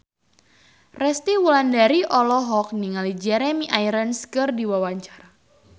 Resty Wulandari olohok ningali Jeremy Irons keur diwawancara